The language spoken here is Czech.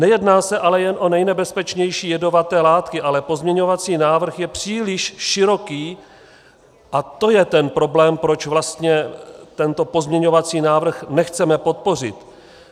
Nejedná se ale jen o nejnebezpečnější jedovaté látky, ale pozměňovací návrh je příliš široký a to je ten problém, proč vlastně tento pozměňovací návrh nechceme podpořit.